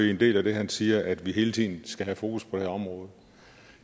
i en del af det han siger at vi hele tiden skal have fokus på det her område